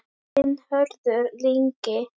Þinn, Hörður Ingi.